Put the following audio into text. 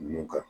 Nun ka